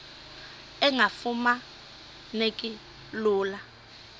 engafuma neki lula